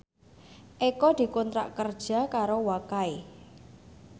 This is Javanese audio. Eko dikontrak kerja karo Wakai